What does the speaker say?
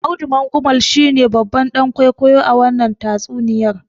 Audu Mangumal shine babban dan kwaikwayo a wannan tatsuniyar.